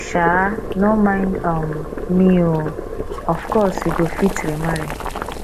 um no mind um me oo of course you go fit remarry